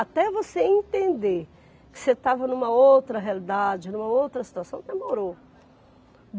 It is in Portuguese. Até você entender que você estava numa outra realidade, numa outra situação, demorou.